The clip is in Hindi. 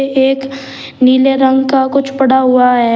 ये एक नीले रंग का कुछ पड़ा हुआ है।